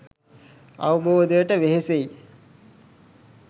අවබෝධයට වෙහෙසෙයි